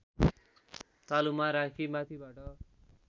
तालुमा राखी माथिबाट